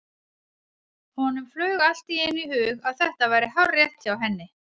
Honum flaug allt í einu í hug að þetta væri hárrétt hjá henni.